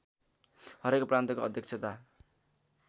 हरेक प्रान्तको अध्यक्षता